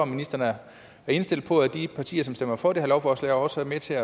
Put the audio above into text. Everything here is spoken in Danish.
ministeren er indstillet på at de partier som stemmer for det her lovforslag også er med til